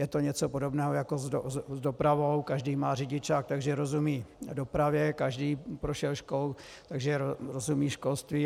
Je to něco podobného jako s dopravou - každý má řidičák, takže rozumí dopravě, každý prošel školou, takže rozumí školství.